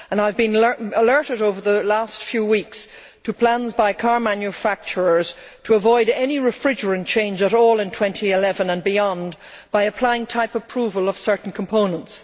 I have been alerted over the last few weeks to plans by car manufacturers to avoid any refrigerant change at all, in 2011 and beyond, by applying type approval of certain components.